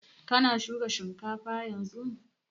Kana shuka shinkafan yanzun?